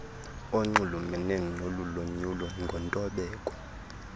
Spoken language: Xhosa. onxulumene nolulonyulo ngontobeko